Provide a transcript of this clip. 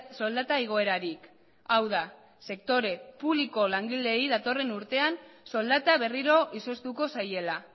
soldata igoerarik hau da sektore publikoko langileei datorren urtean soldata berriro izoztuko zaiela